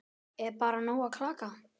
Er bara nóg að klaga?